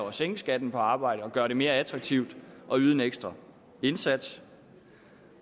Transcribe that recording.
at sænke skatten på arbejde og gøre det mere attraktivt at yde en ekstra indsats